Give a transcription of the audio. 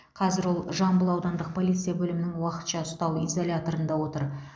қазір ол жамбыл аудандық полиция бөлімінің уақытша ұстау изоляторында отыр